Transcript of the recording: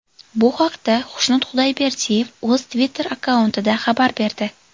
Bu haqda Xushnud Xudayberdiyev o‘z Twitter akkauntida xabar berdi .